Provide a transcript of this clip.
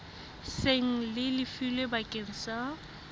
seng le lefilwe bakeng sa